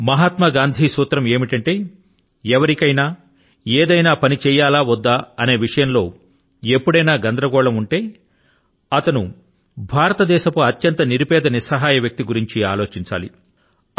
మహాత్మ గాంధీ సూత్రం ఏమిటంటే ఎవరికైనా ఏదైనా పని చేయాలా వద్దా అనే విషయం లో ఎప్పుడైనా గందరగోళం ఉంటే అతను భారతదేశపు అత్యంత నిరు పేద నిస్సహాయ వ్యక్తి ని గురించి ఆలోచించాలి అనేదే